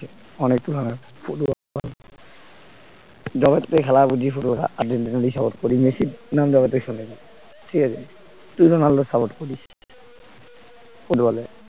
অনেক ফুটবল যবের থেকে খেলা বুঝি ফুটবল আর্জেন্টিনাকেই support মেসি সুনাম ঠিক আছে, তুই তো রোনাল্ডোর support করিস, ফুটবলে